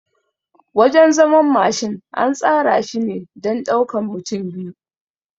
Wajan zaman Mashin an tsara shine don ɗaukan mutane biyu